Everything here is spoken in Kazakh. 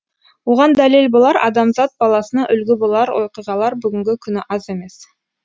оған дәлел болар адамзат баласына үлгі болар оқиғалар бүгінгі күні аз емес